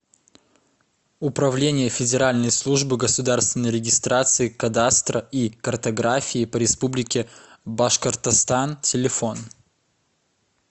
управление федеральной службы государственной регистрации кадастра и картографии по республике башкортостан телефон